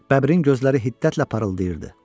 Bəbrin gözləri hiddətlə parıldayırdı.